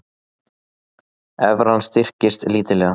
Evran styrkist lítillega